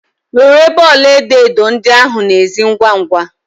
Were bọọlụ edo edo ndị ahụ na ezi ngwa ngwa!